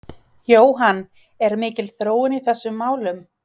Jóhann, er mikil þróun í þessum málum?